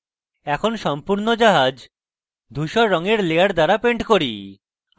এখন সম্পূর্ণ জাহাজ ধুসর রঙের layer দ্বারা পেন্ট করি